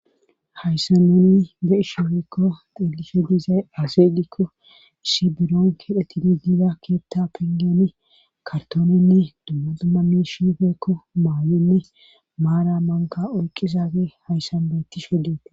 hayssa nunni be ishefekko xelishe dizay aaseydikko siberonge phetidigida keetta pingeni kartoonenne dumma dummami shifeekko maawenne maara manka oyqqizafe hayssan beetti shedeete